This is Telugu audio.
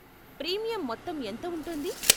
ప్రీమియం మొత్తం ఎంత ఉంటుంది?